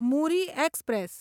Muri express